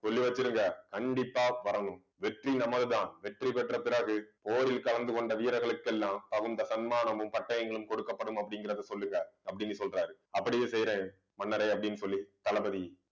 சொல்லி வச்சிடுங்க கண்டிப்பா வரணும். வெற்றி நமதுதான். வெற்றி பெற்ற பிறகு போரில் கலந்து கொண்ட வீரர்களுக்கெல்லாம் தகுந்த தன்மானமும் பட்டயங்களும் கொடுக்கப்படும் அப்படிங்கிறதை சொல்லுங்க. அப்படின்னு சொல்றாரு அப்படியே செய்யுறேன். மன்னரே அப்படின்னு சொல்லி தளபதி